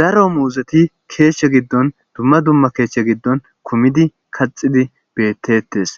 daro muuzeti keeshshe giddon dumma dumma keeshshe giddon kumidi kaxidi bettetes